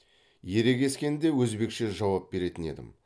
ерегескенде өзбекше жауап беретін едім